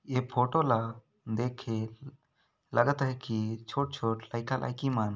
ये फोटो ला देखे लगत आहे की छोट-छोट लइका लईकी मन --